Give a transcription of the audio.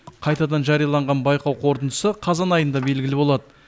қайтадан жарияланған байқау қорытындысы қазан айында белгілі болады